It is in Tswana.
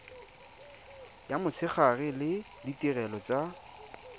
ya motshegare le ditirelo tsa